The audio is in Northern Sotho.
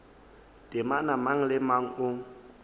temana mang le mang o